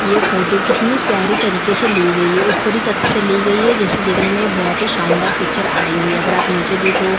ये फोटो कितनी प्यारी तरीके से ली गई है ऊपरी तथ से ली गई है जैसे देखने में बहुत ही शानदार पिक्चर आई हुई है अगर आप नीचे देखो--